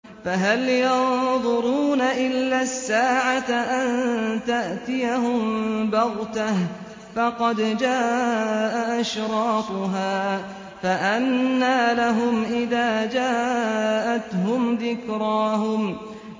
فَهَلْ يَنظُرُونَ إِلَّا السَّاعَةَ أَن تَأْتِيَهُم بَغْتَةً ۖ فَقَدْ جَاءَ أَشْرَاطُهَا ۚ فَأَنَّىٰ لَهُمْ إِذَا جَاءَتْهُمْ ذِكْرَاهُمْ